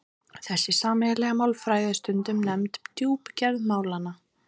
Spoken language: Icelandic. þessi sameiginlega málfræði er stundum nefnd djúpgerð málanna